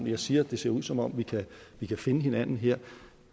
jeg siger at det ser ud som om vi kan finde hinanden her